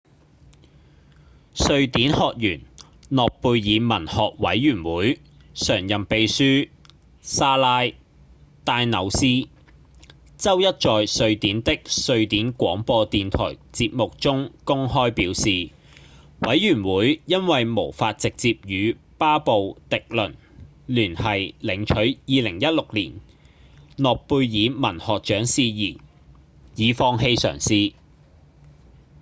瑞典學院諾貝爾文學委員會常任秘書莎拉．戴紐斯週一在瑞典的瑞典廣播電台節目中公開表示委員會因為無法直接與巴布．狄倫聯繫領取2016年諾貝爾文學獎事宜已放棄嘗試